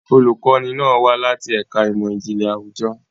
Olùkọ́ni náà wá láti ẹ̀ka ìmọ̀ ìjìnlẹ̀ àwùjọ.